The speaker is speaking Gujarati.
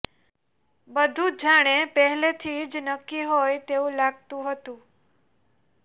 બધુ જાણે પહેલેથી જ નક્કી હોય તેવું લાગતું હતું